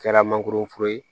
Kɛra mangoroforo ye